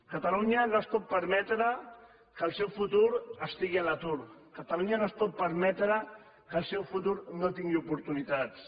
catalunya no es pot permetre que el seu futur estigui a l’atur catalunya no es pot permetre que el seu futur no tingui oportunitats